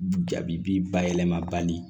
Jabi bi bayɛlɛmali